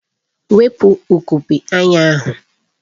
Wepu ugogbe anya ahụ!